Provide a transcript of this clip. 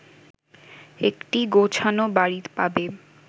একটি গোছানো বাড়ি পাবে